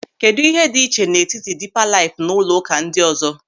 Kedụ ịhe dị iche n'etiti Dịịpa Laịf na ụlọụka ndị ọzọ.